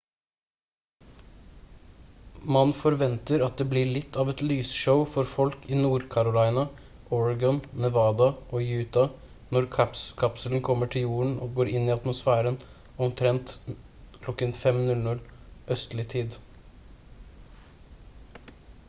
man forventer at det blir litt av et lysshow for folk i nord-california oregon nevada og utah når kapselen kommer til jorden og går inn i atmosfæren omtrent kl. 5:00 østlig tid